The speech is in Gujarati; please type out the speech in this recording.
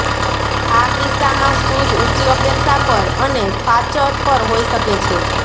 આ કિસ્સામાં શૂઝ ઊંચી અપેક્ષા પર અને ફાચર પર હોઇ શકે છે